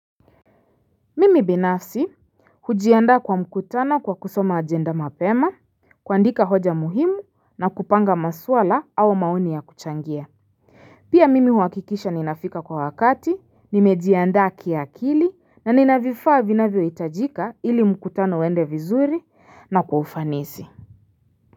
Mimi binafsi hujiandaa kwa mkutano kwa kusoma agenda mapema kuandika hoja muhimu na kupanga maswala au maoni ya kuchangia. Pia mimi huhakikisha ninafika kwa wakati nimejiandaa kiakili na nina vifaa vinavyohitajika ili mkutano uende vizuri na kwa ufanisi.